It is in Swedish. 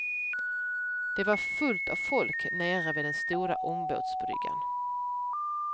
Det var fullt av folk nere vid den stora ångbåtsbryggan.